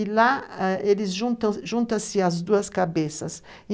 E lá ah eles juntam, juntam-se as duas cabeças.